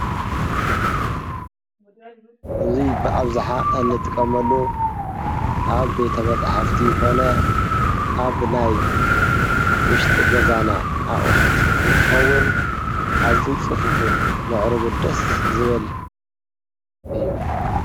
እዙይ ብኣብዙኃ እንጥቀመሉ ኣብ ቤተ መጽሕፍቲ ይኮ፤ ኣብ ናይ ውሽጢ ገዛና ኣቝሑት እንትኸውን ኣዝይ ጽፉፉን ምዕሪ ጕድስ ዝብል እዩ።